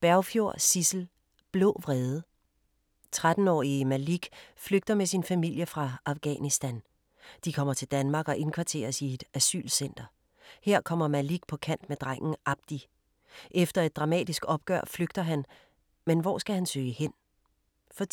Bergfjord, Sissel: Blå vrede 13-årige Malik flygter med sin familie fra Afghanistan. De kommer til Danmark og indkvarteres i et asylcenter. Her kommer Malik på kant med drengen Abdi. Efter et dramatisk opgør flygter han, men hvor skal han søge hen? For